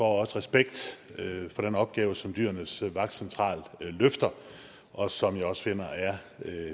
også respekt for den opgave som dyrenes vagtcentral løfter og som jeg også finder er